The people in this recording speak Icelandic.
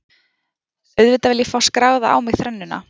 Auðvitað vil ég fá skráða á mig þrennuna.